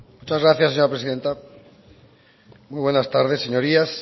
muchas gracias señora presidenta muy buenas tardes señorías